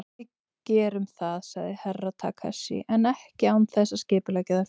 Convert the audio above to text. Við gerum það, sagði Herra Takashi, en ekki án þess að skipuleggja það fyrst.